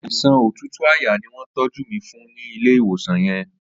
Àisán ótútú àyá ni wọn tọ̀jù mi fùn ni ilé iwósán yèn